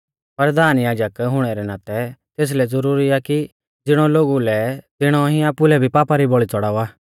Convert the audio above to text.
परधान याजक हुणै रै नातै तेसलै ज़ुरुरी आ कि ज़िणौ लोगु लै तिणौ ई आपुलै भी पापा री बौल़ी च़ौड़ावा